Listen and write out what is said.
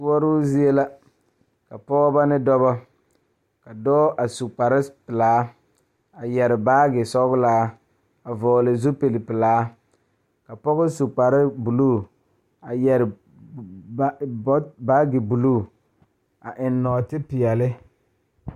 Puori zie la ka pɔgeba ne dɔɔba la kaa dɔɔ kaŋa a are a su kpare pelaa kaa Yiri a die dankyini are kaa kolbaare a dɔgle tabol zu.